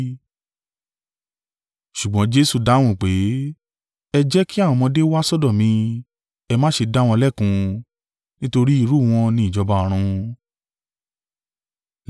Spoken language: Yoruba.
Ṣùgbọ́n Jesu dáhùn pé, “Ẹ jẹ́ kí àwọn ọmọdé wá sọ́dọ̀ mi, ẹ má ṣe dá wọn lẹ́kun, nítorí irú wọn ni ìjọba ọ̀run.”